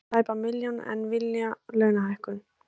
Með tæpa milljón en vilja launahækkun